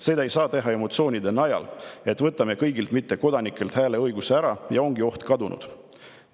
Seda ei saa teha emotsioonide najal, et võtame kõigilt mittekodanikelt hääleõiguse ära ja ongi oht kadunud."